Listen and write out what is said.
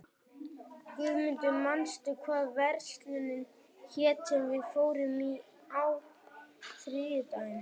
Guðmundur, manstu hvað verslunin hét sem við fórum í á þriðjudaginn?